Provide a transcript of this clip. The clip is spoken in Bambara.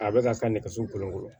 A bɛ ka taa nɛgɛso kolonkolo